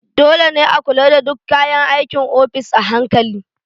Dole ne a kula da duk kayan aikin ofis a hankali.